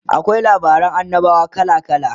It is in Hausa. akwai labaran annabawa kala kala